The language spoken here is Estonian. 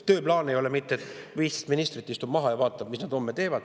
Tööplaan ei ole ju mitte see, et 15 ministrit istuvad maha ja vaatavad, mis nad homme teevad.